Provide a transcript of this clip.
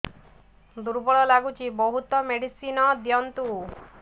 ଦୁର୍ବଳ ଲାଗୁଚି ବହୁତ ମେଡିସିନ ଦିଅନ୍ତୁ